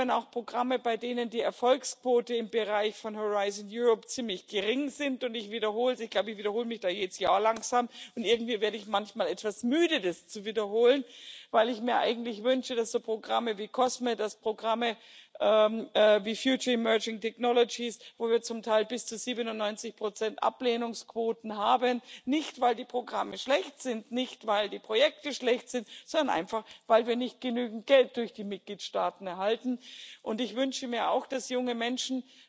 Wir haben auch Programme, bei denen die Erfolgsquote im Bereich von Horizon Europe ziemlich gering ist, und ich wiederhole es ich glaube, ich wiederhole mich jedes Jahr langsam, und irgendwie werde ich manchmal etwas müde, das zu wiederholen weil ich mir eigentlich wünsche, dass solche Programme wie COSME, dass Programme wie Future and Emerging Technologies wo wir zum Teil bis zu 97 Ablehnungsquoten haben nicht weil die Programme schlecht sind, nicht weil die Projekte schlecht sind, sondern weil wir nicht genügend Geld durch die Mitgliedstaaten erhalten und ich wünsche mir auch, dass junge Menschen